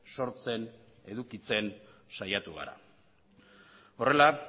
sortzen edukitzen saiatu gara horrela